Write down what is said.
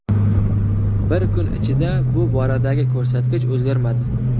Bir kun ichida bu boradagi ko‘rsatkich o‘zgarmadi.